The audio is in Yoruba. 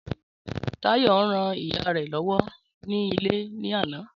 Táyọ̀ ń rán ìyá rẹ lọ́wọ́ ní ilé ní àná